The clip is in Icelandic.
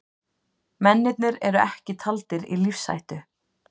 Mennirnir eru ekki taldir í lífshættu